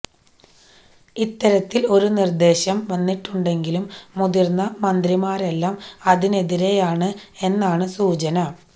ഇത്തരത്തിൽ ഒരു നിർദ്ദേശം വന്നിട്ടുണ്ടെങ്കിലും മുതിർന്ന മന്ത്രിമാരെല്ലാം അതിനെതിരാണ് എന്നാണ് സൂചന